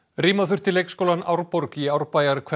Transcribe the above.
rýma þurfti leikskólann Árborg í Árbæjarhverfi